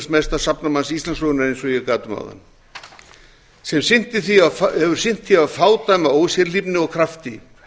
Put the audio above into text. mesta safnamanns íslandssögunnar eins og ég gat um áðan sem hefur sinnt því af fádæma ósérhlífni og krafti